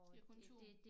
Det kun 2